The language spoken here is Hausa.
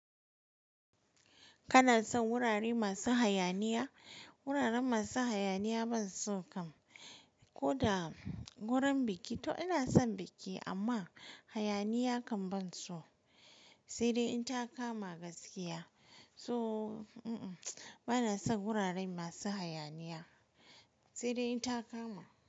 Kana son wurare masu hayaniya? Wuraren masu hayaniya ban so kam. Ko da wurin biki to ina son biki amma hayaniya kam ban so, sai dai in ta kama gaskiya. To uhm uhm mtsw banaso wurare masu hayaniya sai inta kama.